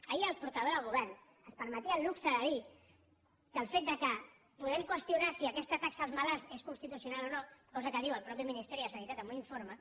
ahir el portaveu del govern es permetia el luxe de dir que el fet que puguem qüestionar si aquesta taxa als malalts és constitucional o no cosa que diu el mateix ministeri de sanitat en un informe